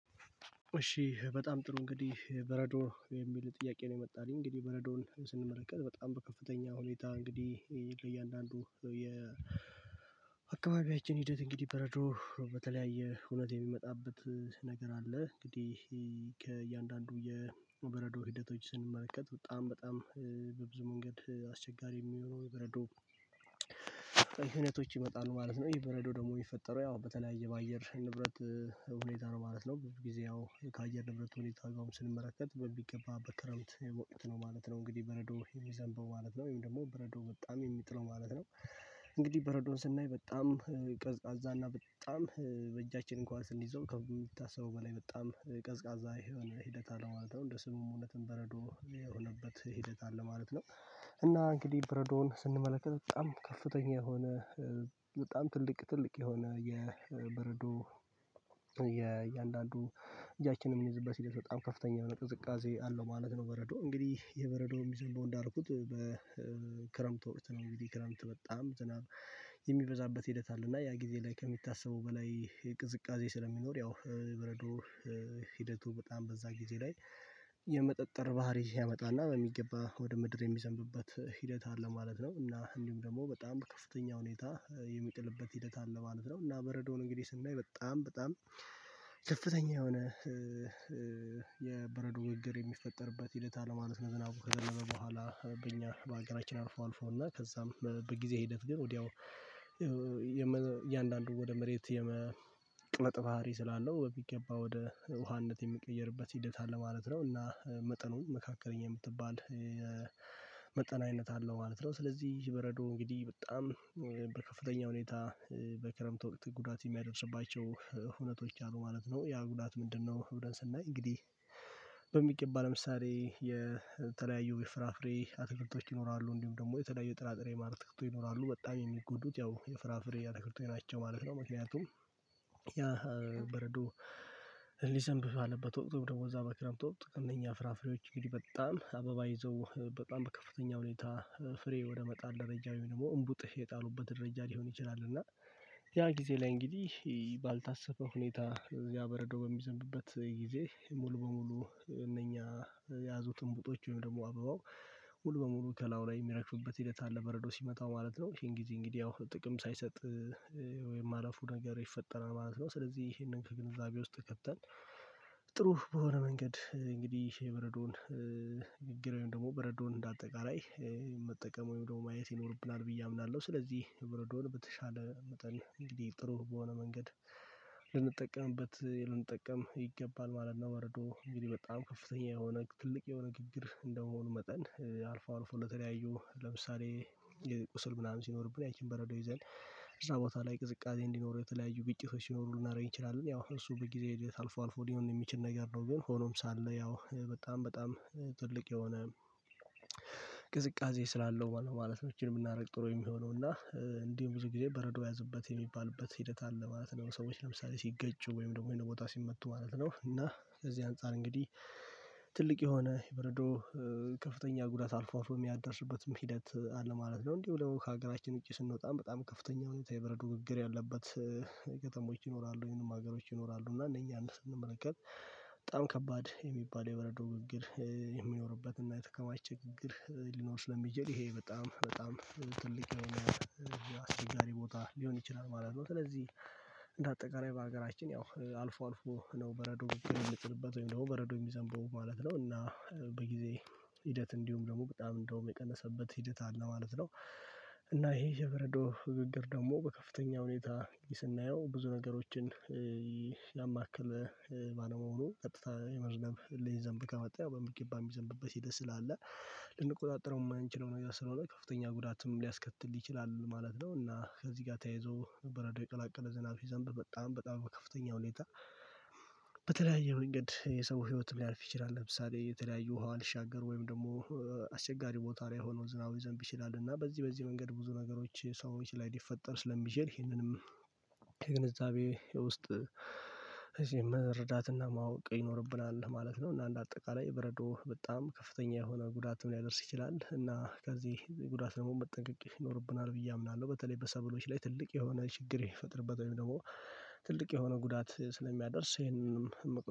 እሺ በጣም ጥሩ እንግዲህ በረዶ የሚል ጥያቄ ነው የመጣልኝ እንግዲህ በረዶን ስንመለከት በጣም በከፍተኛ ሁኔታ እንግዲህ ለእያንዳንዱ የ የአካባቢያችን ሂደት እንግዲህ በረዶ በተለያየ ሁነት የሚመጣበት ነገር አለ። እንግዲህ ከእያንዳንዱ የበረዶ ሂደቶችን ስንመለከት በጣም በጣም በብዙ መንገድ አስቸጋሪ የሚሆነው በረዶ ክሕነነቶች ይመጣሉ ማለት ነው። ይህ በረዶ ደግሞ የሚፈጠረው ያው በተለያየ በአየር ንብረት ሁኔታ ነው ማለት ነው። ጊዜው ከአየር ንብረት ሁኔታ አግባብ ስንመለከት በሚገባ በክረምት የወቅት ነው ማለት ነው። እንግዲህ በረዶ የሚዘንበው ማለት ነው ወይም ደግሞ በረዶ በጣም የሚጥለው ማለት ነው። እንግዲህ በረዶን ስናይ በጣም ቀዝቃዛ እና በጣም በእጃችን እንኳን ስንይዘው ከምታስበው በላይ በጣም ቀዝቃዛ የሆነ ሂደት አለመሆን ማለት ነው። እንደ ስሙ እውነትን በረዶ የሆነበት ሂደት አለ ማለት ነው። እና እንግዲህ በረዶን ስንመለከት በጣም ከፍተኛ የሆነ በጣም ትልቅ ትልቅ የሆነ የበርዱ የእያንዳንዱ እጃችንን የሚንይዝበት ሂደት በጣም ከፍተኛ የሆነ ቅዝቃዜ አለው ማለት ነው። በረዶ እንግዲህ የበረዶው የሚዘንበው እንዳልኩት በክረምት ወቅት ነው እንግዲ ክረምት በጣም ዝናብ የሚበዛበት ሂደት አለ። እና ያ ጊዜ ላይ ከሚታሰበው በላይ ቅዝቃዜ ስለሚኖር ያው የበረዶ ሂደቱ በጣም በዛ ጊዜ ላይ የመጠጠር ባህሪ ያመጣና በሚገባ ወደ ምድር የሚዘንብበት ሂደት አለ ማለት ነው። እና እንዲሁም ደግሞ በጣም ከፍተኛ ሁኔታ የሚጥልበት ሂደት አለ ማለት ነው። እና በረዶውን እንግዲህ ስናይ በጣም በጣም ከፍተኛ የሆነ የበረዶ ግግር የሚፈጠርበት ሂደት አለ ማለት ነው። ዝናቡ ከዘነበ በኋላ በእኛ በአገራችን አልፎ አልፎና ከዛም በጊዜ ሂደት ግን ወዲያው የእያንዳንዱ ወደ መሬት የመቅለጥ ባህሪ ስላለው ቢገባ ወደ ውሃነት የሚቀየርበት ሂደት አለ ማለት ነው። እና መጠኑን መካከለኛ የምትባል መጠን አይነነት አለው ማለት ነው። ስለዚህ ይህበረዶ እንግዲህ በጣም በከፍተኛ ሁኔታ በክረምት ወቅት ጉዳት የሚያደርስባቸው ሁነቶች አሉ ማለት ነው። ያ ጉዳት ምንድነው? ብለን ስናይ እንግዲህ በሚቀባ ለምሳሌ የተለያዩ የፍራፍሬ አትልቶች ይኖራሉ እንዲሁም ደግሞ የተለያዩ የጥራጥሬ ማርትክቶ ይኖራሉ በጣም የሚጎዱት ያው የፍራፍሬ ያነክርቶች ናቸው ማለት ነው። መቼም ያ በረዶ ሊዘንብብ አለበት ወቅትም ደግሞ እዛ በክረምት ጥቅምኛ ፍራፍሬዎች እንግዲህ በጣም አበባ ይዘው በጣም በከፍተኛ ሁኔታ ፍሬ ወደ መጣል ደረጃው ደግሞ እምቡጥህ የጣሉበት ደረጃ ሊሆን ይችላል። እና ያ ጊዜ ላይ እንግዲህ ባልታሰበ ሁኔታ ያ በረዶ በሚዘንብበት ጊዜ ሙሉ በሙሉ እነኛ የያዙትን ዕንቡጦች ወይም ደግሞ አበባው ሙሉ በሙሉ ከላው ላይ የሚግፍበት ሂደት አለ በረዶ ሲመጣ ማለት ነው። ይሄን ጊዜ እንግዲህ ያው ጥቅም ሳይሰጥ ወይም ማለፉን ነገር ይፈጠራል ማለት ነው። ስለዚህ ይህንን ከግንዛቤ ውስጥ ከተን ጥሩ በሆነ መንገድ እንግዲህ የበረዶን ግግር ወይም ደግሞ በረዶን እንደ አጠቃላይ መጠቀም ወይም ደግሞ ማየት ይኖርብናል ብዬ አምናለሁ። ስለዚህ በረዶን በተሻለ መጠን እንግዲህ ጥሩ በሆነ መንገድ ልንጠቀምበት ልንጠቀም ይገባል ማለት ነው። በረዶ እንግዲህ በጣም ከፍተኛ የሆነ ትልቅ የሆነ ግግር እንደመሆኑ መጠን አልፎ አልፎ ለተለያዩ ለምሳሌ የቁስል ምናምን ሲኖርብን ያቺን በረዶ ይዘን እዛ ቦታ ላይ ቅዝቃዜ እንዲኖረው የተለያዩ ግጭቶች ሲኖሩ ልናረግ እንችላለን ያው እሱ በጊዜ ሂደት አልፎ አልፎ ሊሆን የሚችል ነገር ነው። ግን ሆኖም ሳለ ያው በጣም በጣም ትልቅ የሆነ ቅዝቃዜ ስላለው ማለት ነው። እቺን የምናደርግ ጥሩ የሚሆነው እና እንዲሁ ብዙ ጊዜ በረዶ ያዝበት የሚባልበት ሂደት አለ ማለት ነው። ሰዎች ለምሳሌ ሲገጭ ወይም ደግሞ ወይም ቦታ ሲመቱ ማለት ነው። እና ከዚህ አንፃር እንግዲህ ትልቅ የሆነ የብርዶ ከፍተኛ ጉዳት አልፎ አልፎ የሚያደርስበትም ሂደት አለ ማለት ነው። እንዲሁ ደሞ ከሀገራችን ውጪ ስንወጣም በጣም ከፍተኛ ሁኔታ የበረዶ ግግር ያለበት ከተሞች ይኖራሉ ወይንም ደግሞ ሀገሮች ይኖራሉ። እና እነኛን ስንመለከት በጣም ከባድ የሚባል የበረዶ ግግር የሚኖርበት እና የተከማች ግግር ሊኖር ስለሚጀል ይሄ በጣም በጣም ትልቅ አስቸጋሪ ቦታ ሊሆን ይችላል ማለት ነው። ስለዚህ እንደ አጠቃላይ በሀገራችን ያው አልፎ አልፎ ነው በረዶ የሚጥልበት ወይም ደግሞ በረዶ የሚዘንበው ማለት ነው እና በጊዜ ሂደት እንዲሁም ደግሞ በጣም እንደውም የቀነሰበት ሂደት አለ ማለት ነው። እና ይሄ የበረዶ ግግር ደግሞ በከፍተኛ ሁኔታ ስናየው ብዙ ነገሮችን ያማክለ ማለመሆኑ ቀጥታ የመዝነብ ሊይዘንብ ከመጣ ያው በሚገባ የሚዘንብበት ሂደት ስላለ ልንቆጣጠረው የማንችለው ነው። ስለሆነ ከፍተኛ ጉዳትም ሊያስከትል ይችላል ማለት ነው። እና ከዚህ ጋር ተያይዞ በረዶ የቀላቀለ ዝናብ ሲዘንብ በጣም በጣም ከፍተኛ ሁኔታ በተለያየ መንገድ የሰው ህይወት ሊያልፍ ይችላል። ለምሳሌ የተለያዩ ውሃ ሊሻገር ወይም ደግሞ አስቸጋሪ ቦታ ላይ ሆኖ ዝናብ ሊዘንብ ይችላል። እና በዚህ በዚህ መንገድ ብዙ ነገሮች ሰዎች ላይ ሊፈጠር ስለሚችል ይሄንንም ከግንዛቤ ውስጥ እዚህ መረዳትና ማወቅ ይኖርብናል ማለት ነው። እና አንድ አጠቃላይ በረዶ በጣም ከፍተኛ የሆነ ጉዳትም ሊያደርስ ይችላል እና ከዚህ ጉዳት ደግሞ መጠንቀቅ ይኖርብናል ብዬ አምናለሁ። በተለይ በሰበሎች ላይ ትልቅ የሆነ ችግር የሚፈጥርበት ወይም ደግሞ ትልቅ የሆነ ጉዳት ስለሚያደርስ ይሄንንም